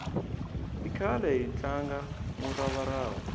i khale hi tlanga murava rava